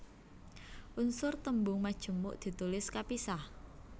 Unsur tembung majemuk ditulis kapisah